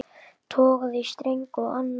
Togaði í streng og annan.